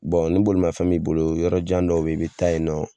Bɔn ni bolima fɛn b'i bolo yɔrɔ jan dɔw bɛ yen, i bɛ taa yen nɔ.